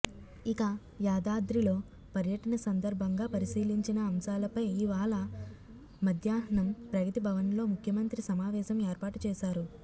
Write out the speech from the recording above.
ఇక యాదాద్రిలో పర్యటన సందర్భంగా పరిశీలించిన అంశాలపై ఇవాళ మధ్యాహ్నం ప్రగతి భవన్లో ముఖ్యమంత్రి సమావేశం ఏర్పాటు చేశారు